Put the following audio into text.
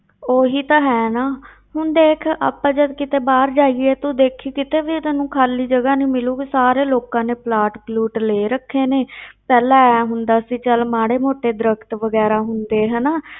ਉਹੀ ਤਾਂ ਹੈ ਨਾ ਹੁਣ ਦੇਖ ਆਪਾਂ ਜਦ ਕਿਤੇ ਬਾਹਰ ਜਾਈਏ ਤੂੰ ਦੇਖੀ ਕਿਤੇ ਵੀ ਤੈਨੂੰ ਖਾਲੀ ਜਗਾ ਨੀ ਮਿਲੇਗੀ, ਸਾਰੇ ਲੋਕਾਂ ਨੇ ਪਲਾਟ ਪਲੂਟ ਲੈ ਰੱਖੇ ਨੇ ਪਹਿਲਾਂ ਇਉਂ ਹੁੰਦਾ ਸੀ ਚੱਲ ਮਾੜੇ ਮੋਟੇ ਦਰੱਖਤ ਵਗ਼ੈਰਾ ਹੁੰਦੇ ਹਨਾ,